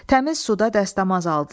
Təmiz suda dəstəmaz aldılar.